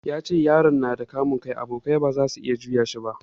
Ya ce yaron nada kamun kai, abokai ba zasu iya juya shi ba